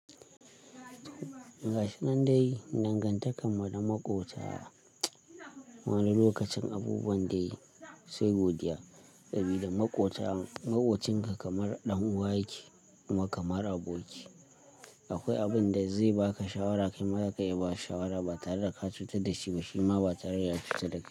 Ga shi nan dai, nan ganta kaman na maƙwabta, wani lokacin abubuwan dai sai godiya. Saboda maƙwabcin ka kamar ɗan uwa yake kuma kamar aboki yake. Akwai abin da zai baka shawara kai ma za ka iya ba shi shawara ba tare da ka cutar da shi ba shima ba tare da ya cutar da ka.